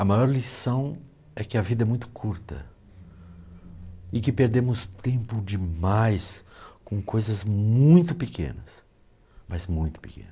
A maior lição é que a vida é muito curta e que perdemos tempo demais com coisas muito pequenas, mas muito